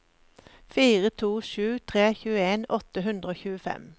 fire to sju tre tjueen åtte hundre og tjuefem